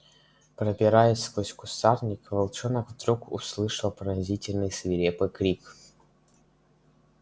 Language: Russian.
пробираясь сквозь кустарник волчонок вдруг услышал пронзительный свирепый крик